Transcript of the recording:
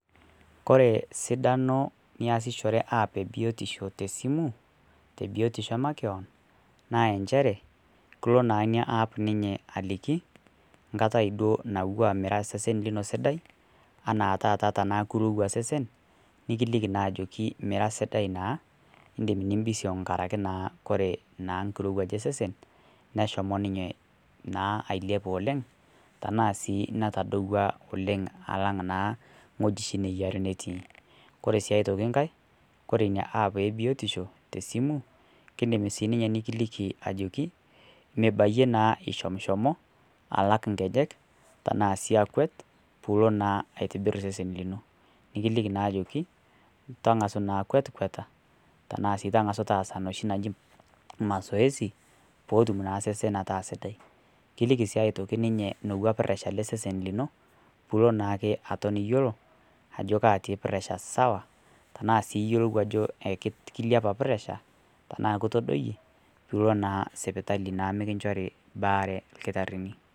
Kore sidano niasishore app e biotisho tesimu te biotisho emakeon, naa encheere kuloo naa enia app ninyee alikii nkaatai doo naa iwua meera sesen sidai anaa taata tana kuruwaa sesen niikili naa ajo miira sidai naa idiim niibishong' ng'araki naa kore naa nkireuaj esesen neeshomo naa ninyee ailiap oleng tana sii naatodua oleng alang' naa ng'oji shii neiyaari netii. Kore sii aitoki nkaai kore enia app e biotisho te simu keidiim sii ninye nikiliki ajoki miibaiye naa ishomshomo alaak nkeejek tana sii akweet puloo naa aitibiir sesen linoo. Nikiliiki naa ajokii tang'asu naa kweet kweeta tana sii tang'asu naa taasa noshii naa najii mazoezi pootum naa sesen ataa sidai. Kilikii sii atokii ninye nouwa presha le sesen enoo poo naake atoon eiyeloo ajo katii presha sawa tana sii eiyeloo ajo kiliapa presha tana kitodoiye niloo naa sipitali meikinchoori baare lkitaarini.